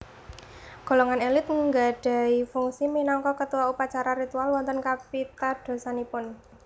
Golongan elit nggadhahi fungsi minangka ketua upacara ritual wonten kapitadosanipun